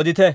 odite.